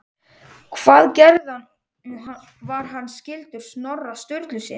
Hvað gerði hann og var hann skyldur Snorra Sturlusyni?